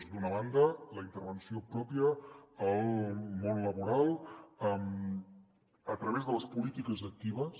d’una banda la intervenció pròpia al món laboral a través de les polítiques actives